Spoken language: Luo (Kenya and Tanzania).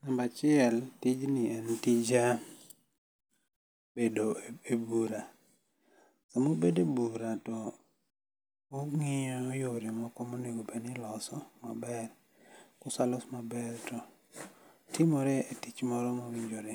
Namba chiel, tijni en tij bedo e bura. Samubede bura to ung'io yore moko monego bedni iloso maber, kosalos maber to timore e tich moro mowinjore.